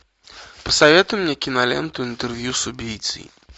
посоветуй мне киноленту интервью с убийцей